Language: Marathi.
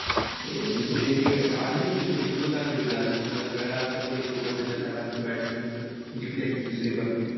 हो दुसरी टी आली होती थोडी close आणली होती. अजून थोडा खेळला असता कोणी सोबत त्याच्या राहिला असता batsman तर जिकली असती दुसरी पण.